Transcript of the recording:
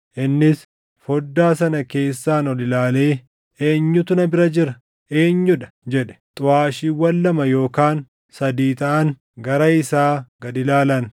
Innis foddaa sana keessaan ol ilaalee, “Eenyutu na bira jira? Eenyuu dha?” jedhe. Xuʼaashiiwwan lama yookaan sadii taʼan gara isaa gad ilaalan.